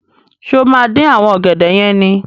Ṣé o máa dín àwọn ọ̀gẹ̀dẹ̀ yẹn ni?